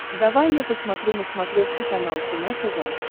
давай я посмотрю на смотрешке канал кино тв